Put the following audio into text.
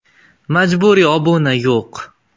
Majburiy obuna yo‘q!